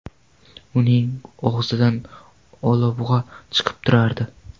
Uning og‘zidan olabug‘a chiqib turardi.